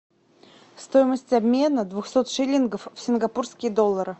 стоимость обмена двухсот шиллингов в сингапурские доллары